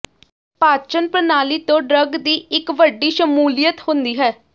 ਪਾਚਨ ਪ੍ਰਣਾਲੀ ਤੋਂ ਡਰੱਗ ਦੀ ਇੱਕ ਵੱਡੀ ਸ਼ਮੂਲੀਅਤ ਹੁੰਦੀ ਹੈ